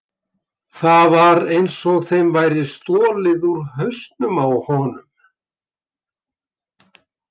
Það var einsog þeim væri stolið úr hausnum á honum.